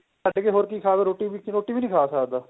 ਛੱਡ ਕੇ ਹੋਰ ਕੀ ਖਾ ਸਕਦੇ ਰੋਟੀ ਖਾ ਲੋ ਰੋਟੀ ਵੀ ਨਹੀਂ ਖਾ ਸਕਦਾ